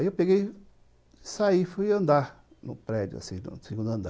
Aí eu peguei e saí, fui andar no prédio, assim, no segundo andar.